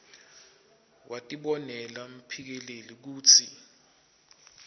watibonela mphikeleli kutsi